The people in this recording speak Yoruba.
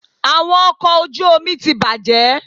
Awọn ọkọ oju omi ti bajẹ